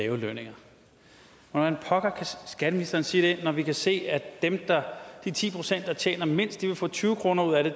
lave lønninger hvordan pokker kan skatteministeren sige det når vi kan se at de ti pct der tjener mindst vil få tyve kroner ud af det